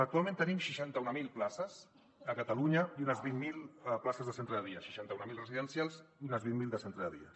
actualment tenim seixanta mil places a catalunya i unes vint mil pla·ces de centre de dia seixanta mil residencials i unes vint mil de centre de dia